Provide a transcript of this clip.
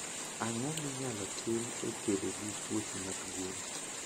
Ang'o minyalo tim e kedo gi tuoche mag gwen?